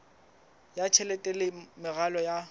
ya tjhelete le meralo ya